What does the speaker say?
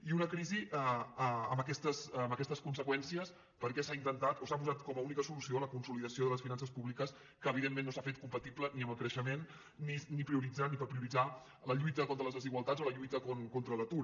i una crisi amb aquestes conseqüències perquè s’ha intentat o s’ha posat com a única solució la consolidació de les finances públiques que evidentment no s’ha fet compatible ni amb el creixement ni prioritzant ni per prioritzar la lluita contra les desigualtats o la lluita contra l’atur